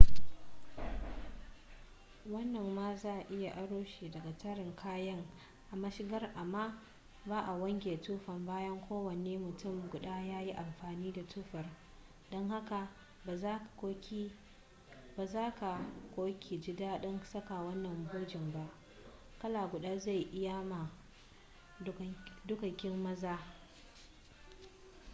wannan ma za a iya aro shi daga tarin kayan a mashigar amma ba a wanke tufa bayan kowane mutum guda ya yi amfani da tufar don haka ba za ka/ki ji dadin saka wannan bujen ba. kala guda zai iyamma dukkanin maza